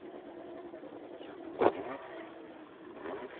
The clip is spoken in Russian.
яна гурина